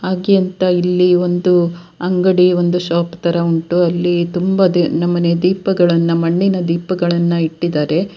ಅಂತ ಇಲ್ಲಿ ಒಂದು ಅಂಗಡಿ ಒಂದು ಶಾಪ್ ತರಹ ಉಂಟು ಅಲ್ಲಿ ತುಂಬ ನಮೂನೆಯ ದೀಪಗಳನ್ನ ಮಣ್ಣಿನ ದೀಪಗಳನ್ನ ಇಟ್ಟಿದ್ದಾರೆ .